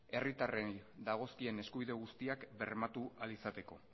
herritarrei dagozkien eskubidea guztiak bermatu ahal izateko